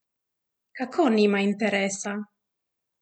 Kako nima interesa?